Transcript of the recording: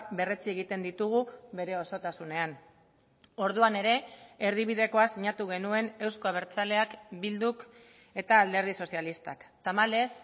berretsi egiten ditugu bere osotasunean orduan ere erdibidekoa sinatu genuen euzko abertzaleak bilduk eta alderdi sozialistak tamalez